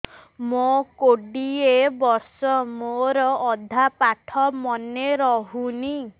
ମୋ କୋଡ଼ିଏ ବର୍ଷ ମୋର ଅଧା ପାଠ ମନେ ରହୁନାହିଁ